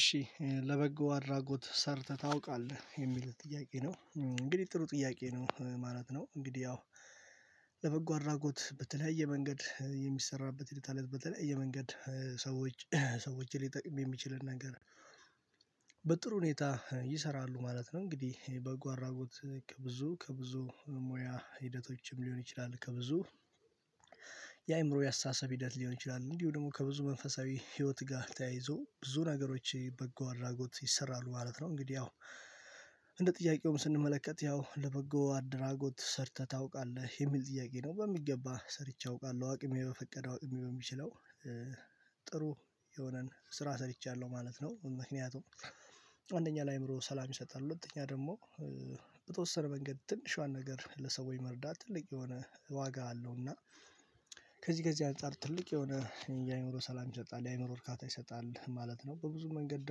እሺ ለበጎ አድራጎት ሰርተህ ታውቃለህ የሚል ጥያቄ ነው? እንግዲህ ጥሩ ጥያቄ ነው ማለት ነው። እንግዲህ ያው ለበጎ አድራጎት በተለያየ መንገድ የሚሰራበት ሂደት አለ በተለያየ መንገድ ሰዎች ሰዎችን ሊጠቅም የሚችልን ነገር። በጥሩ ሁኔታ ይሰራሉ ማለት ነው። እንግዲህ በጎ አድራጎት ከብዙ ከብዙ ሙያ ሂደቶችም ሊሆን ይችላል። ከብዙ የአእምሮ የአስተሳሰብ ሂደት ሊሆን ይችላል እንዲሁ ደግሞ ከብዙ መንፈሳዊ ህይወት ጋር ተያይዞ ብዙ ነገሮች በጎ አድራጎት ይሰራሉ ማለት ነው። እንግዲህ ያው እንደ ጥያቄውም ስንመለከት ያው ለበጎ አደራጎት ሰርተህ ታውቃለህ የሚል ጥያቄ ነው? በሚገባ ሰርቼ አውቃለሁ አቅሜ በፈቀደው አቅሜ በሚችለው። ጥሩ የሆነን ስራ ሰርቻለሁ ማለት ነው። ምክንያቱም አንደኛ ለአእምሮ ሰላም ይሰጣሉ። ሁለተኛ ደግሞ በተወሰነ መንገድ ትንሿን ነገር ለሰው የመርዳት ትልቅ የሆነ ዋጋ አለው። እና ከዚህ ከዚህ አንፃር ትልቅ የሆነ የአእምሮ ሰላም ይሰጣል የአእምሮ እርካታ ይሰጣል ማለት ነው። በብዙ መንገድ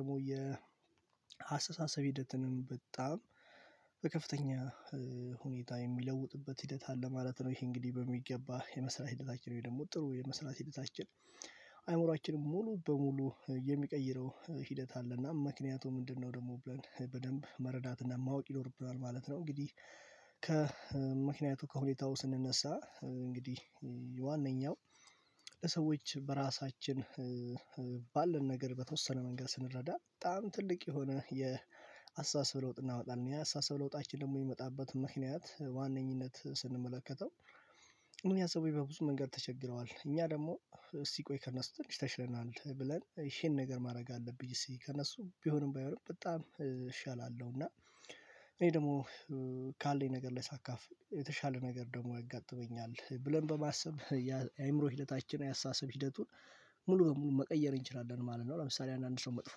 ደግሞ የ አሰሳሰብ ሂደትንም በጣም በከፍተኛ ሁኔታ የሚለውጥበት ሂደት አለ ማለት ነው። ይሄ እንግዲህ በሚገባ የመስራት ሂደታችን ነው? ወይ ደግሞ ጥሩ የመስራት ሂደታችን? አይምሮአችን ሙሉ በሙሉ የሚቀይረው ሂደት አለና ምክንያቱም ምንድነው ደግሞ ብለን በደንብ መረዳትና ማወቅ ይኖርብናል ማለት ነው። እንግዲህ ከምክንያቱ ከሁኔታው ስንነሳ እንግዲህ ዋነኛው ለሰዎች በራሳችን ባለን ነገር በተወሰነ መንገድ ስንረዳ በጣም ትልቅ የሆነ የአስተሳሰብ ለውጥ እናመጣለን። የአስተሳሰብ ለውጣችን ደግሞ የሚመጣበት ምክንያት በዋነኝነት ስንመለከተው። ምን ያሰበኝ በብዙ መንገድ ተቸግረዋል እኛ ደግሞ እስቲ ቆይ ከነሱ ትንሽ ተሽለናል ብለን ይሄን ነገር ማድረግ አለብኝ እስቲ ከእነሱ ቢሆንም ባይሆንም በጣም እሻላለሁ። እና እኔ ደግሞ ካለኝ ነገር ላይ ሳካፍል የተሻለ ነገር ደግሞ ያጋጥመኛል። ብለን በማሰብ የአእምሮ ሂደታችን የአስተሳሰብ ሂደቱን ሙሉ በሙሉ መቀየር እንችላለን ማለት ነው። ለምሳሌ አንዳንድ ሰው መጥፎ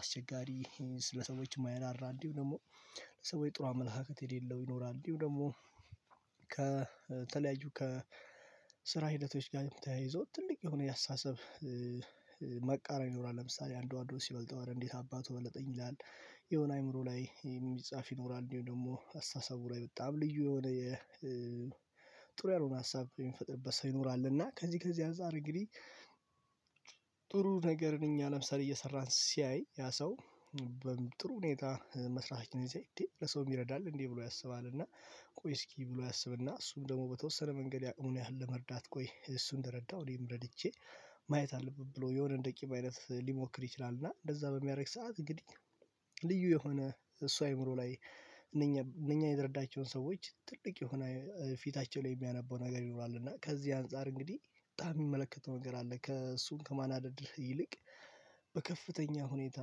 አስቸጋሪ ስለሰዎች ማይራራ እንዲሁ ደግሞ ለሰዎች ጥሩ አመላካከት የሌለው ይኖራል። እንዲሁ ደግሞ ከተለያዩ ከስራ ሂደቶች ጋርም ተያይዞ ትልቅ የሆነ የአስተሳሰብ መቃረን ይኖራል። ለምሳሌ አንዱ አንዱን ሲበልጠው ኧረ እንዴት አባቱ በለጠኝ ይላል? የሆነ አይምሮ ላይ የሚጻፍ ይኖራል እንደውም ደግሞ አስተሳሰቡ ላይ በጣም ልዩ የሆነ የጥሩ ያልሆነ ሀሳብ የሚፈጥርበት ሰው ይኖራል። እና ከዚህ ከዚህ አንፃር እንግዲህ ነገር እኛ ለምሳሌ እየሰራን ሲያይ ያ ሰው። ጥሩ ሁኔታ መስራታችንን ሲያይ እንዴ ለሰውም ይረዳል እንዴ ብሎ ያስባል። እና ቆይ እስኪ ብሎ ያሰብና እሱም ደግሞ በተወሰነ መንገድ የአቅሙን ያህል ለመርዳት ቆይ እሱ እንደረዳው እኔም ረድቼ ማየት አለብኝ ብሎ የሆነ እንደ ቂም አይነት ሊሞክር ይችላል። እና እንደዛ በሚያደርግ ሰዓት እንግዲህ ልዩ የሆነ እሱ አይምሮ ላይ እነኛ እነኛ የረዳቸውን ሰዎች ትልቅ የሆነ ፊታቸው ላይ የሚያነበው ነገር ይኖራል። እና ከዚህ አንፃር እንግዲህ በጣም የሚመለከተው ነገር አለ። ከእሱን ከማናደድ ይልቅ በከፍተኛ ሁኔታ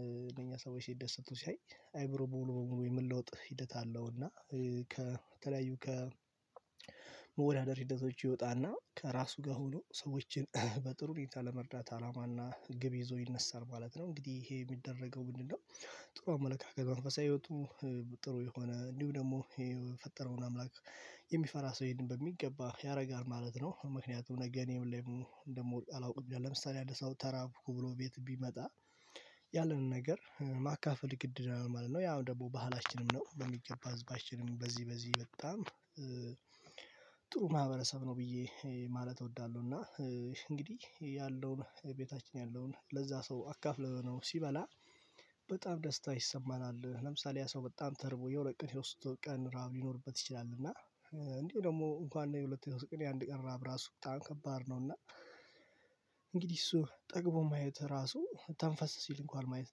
እነኛ ሰዎች ሲደሰቱ ሲያይ አይምሮ ሙሉ በሙሉ የመለውጥ ሂደት አለው። እና ከተለያዩ ከመወዳደር ሂደቶች ይወጣና ከራሱ ጋር ሆኖ ሰዎችን በጥሩ ሁኔታ ለመርዳት አላማና ግብ ይዞ ይነሳል ማለት ነው። እንግዲህ ይሄ የሚደረገው ምንድነው? ጥሩ አመለካከት መንፈሳዊ ህይወቱ ጥሩ የሆነ እንዲሁ ደግሞ የፈጠረውን አምላክ የሚፈራ ሰው ይሄንን በሚገባ ያደርጋል ማለት ነው። ምክንያቱም ነገ እኔም ደግሞ እንደምወድቅ አላውቅም ለምሳሌ አንድ ሰው ተራብኩ ብሎ ቤት ቢመጣ ያለንን ነገር ማካፈል ግድ ይለናል ማለት ነው። ያም ደግሞ ባህላችንም ነው በሚገባ ህዝባችንም በዚህ በዚህ በጣም ጥሩ ማህበረሰብ ነው። ብዬ ማለት እወዳለሁ። እና እንግዲህ ያለውን ቤታችን ያለውን ለዛ ሰው አካፍለነው ሲበላ በጣም ደስታ ይሰማናል። ለምሳሌ ያ ሰው በጣም ተርቦ የሁለት ቀን የሶስት ቀን ራብ ሊኖርበት ይችላል። እና እንዲሁም ደግሞ እንኳን የሁለት የሶስት ቀን የአንድ ቀን ራበ ራሱ በጣም ከባድ ነው። እና እንግዲህ እሱ ጠግቦ ማየት ራሱ ተንፈስ ሲል እንኳን ማየት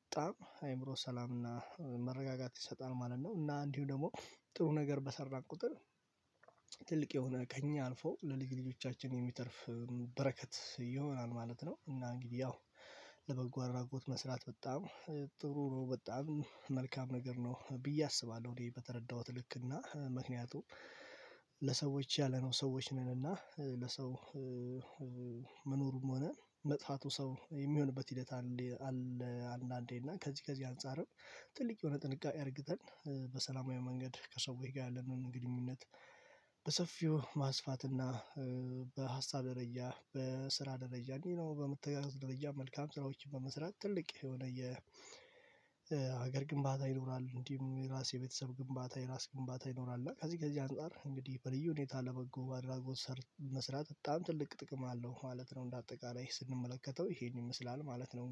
በጣም አይምሮ ሰላምና መረጋጋት ይሰጣል ማለት ነው። እና እንዲሁ ደግሞ ጥሩ ነገር በሰራን ቁጥር። ትልቅ የሆነ ከእኛ አልፎ ለልጅ ልጆቻችን የሚተርፍ በረከት ይሆናል ማለት ነው። እና እንግዲህ ያው ለበጎ አድራጎት መስራት በጣም ጥሩ ነው በጣም መልካም ነገር ነው ብዬ አስባለሁ። እኔ በተረዳሁት ልክ እና ምክንያቱም ለሰዎች ያለነው ሰዎች ነን። እና ለሰው መኖሩም ሆነ መጥፋቱ ሰው የሚሆንበት ሂደት አለ። አንዳንዴ እና ከዚህ ከዚህ አንፃርም ትልቅ የሆነ ጥንቃቄ አድርገን በሰላማዊ መንገድ ከሰዎች ጋር ያለንን ግንኙነት። በሰፊው ማስፋትና በሀሳብ ደረጃ በስራ ደረጃ ሌላው ነው በመተጋገዝ ደረጃ መልካም ስራዎችን በመስራት ትልቅ የሆነ የሀገር ግንባታ ይኖራል። እንዲሁም የራስ የቤተሰብ ግንባታ የራስ ግንባታ ይኖራል። እና ከዚህ ከዚህ አንፃር እንግዲህ በልዩ ሁኔታ ለበጎ አድራጎት ሰር መስራት በጣም ትልቅ ጥቅም አለው ማለት ነው። እንደ አጠቃላይ ስንመለከተው ይሄን ይመስላል ማለት ነው